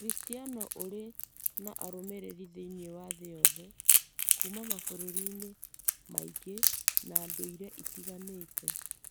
Ũkristiano ũrĩ na arũmĩrĩri thĩinĩ wa thĩ yothe, kuuma mabũrũri-inĩ maingĩ na ndũire itiganĩte.